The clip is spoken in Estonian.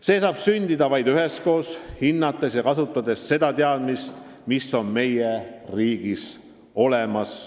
See saab sündida vaid üheskoos: hinnates ja kasutades teadmisi, mis on meie riigis olemas.